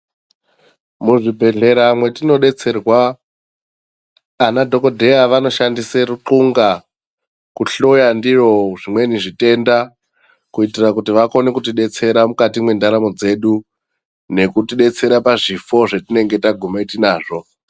Muzvibhedhlera mwetinodetserwa ana dhokodheya vanoshandisa rupunga kuhloya ndiro zvimweni zvitenda kuitira kuti vakone kutidetsera mukati mwendaramo dzedu nekutidetsera pazvifo zvatinenge taguma nazvo.